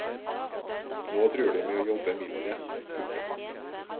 Nå truer de med å jobbe mindre. punktum